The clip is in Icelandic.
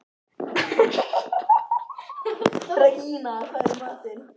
Regína, hvað er í matinn?